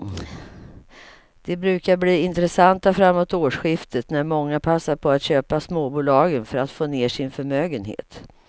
De brukar bli intressanta framåt årsskiftet när många passar på att köpa småbolagen för att få ner sin förmögenhet.